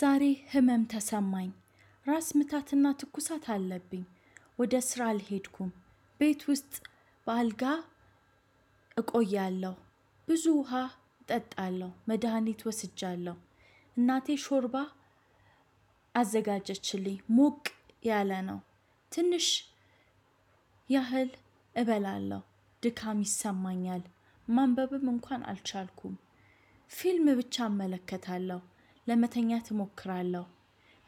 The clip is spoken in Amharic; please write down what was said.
ዛሬ ህመም ተሰማኝ። ራስ ምታትና ትኩሳት አለብኝ። ወደ ስራ አልሄድኩም። ቤት ውስጥ በአልጋ እቆያለሁ። ብዙ ውሃ እጠጣለሁ። መድሃኒት ወስጃለሁ። እናቴ ሾርባ አዘጋጀችልኝ። ሞቅ ያለ ነው። ትንሽ ያህል እበላለሁ። ድካም ይሰማኛል። ማንበብም እንኳን አልቻልኩም። ፊልም ብቻ እመለከታለሁ። ለመተኛት እሞክራለሁ።